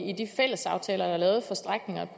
i de fælles aftaler der er lavet for strækningerne